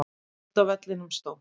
Úti á vellinum stóð